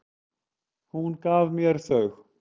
Hún gaf mér þau.